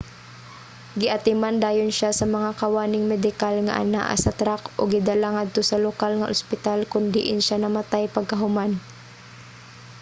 giatiman dayon siya sa mga kawaning medikal nga anaa sa track ug gidala ngadto sa lokal nga ospital kon diin siya namatay pagkahuman